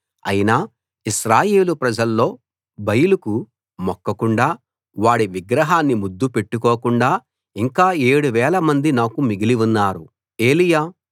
అయినా ఇశ్రాయేలు ప్రజల్లో బయలుకు మొక్కకుండా వాడి విగ్రహాన్ని ముద్దు పెట్టుకోకుండా ఇంకా 7000 మంది నాకు మిగిలి ఉన్నారు